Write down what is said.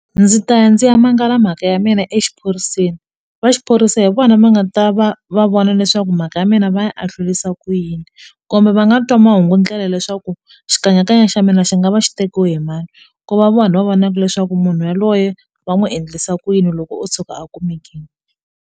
Ndzi ta ya ndzi ya mangala mhaka ya mina exiphoriseni va xiphorisa hi vona va nga ta va va vona leswaku mhaka ya mina va ya a hlurisa ku yini kumbe va nga twa mahungu ndlela leswaku xikanyakanya xa mina xi nga va xi tekiwe hi mali ku va vona va vonaka leswaku munhu yaloye va n'wi endlisa ku yini loko o tshuka a kumekile.